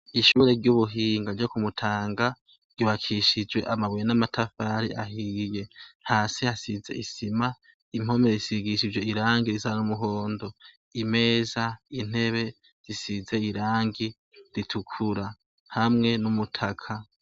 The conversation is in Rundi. Ishure ryubuhinga ryo ku mutanga ryubakishijwe amabuye namatafari ahiye hasi hasize isima impome zisigishijwe irangi risa numuhondo imeza intebe zisize irangi ritukura hamwe numutaka